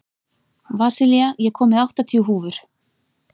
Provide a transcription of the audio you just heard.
Vasilia, ég kom með áttatíu húfur!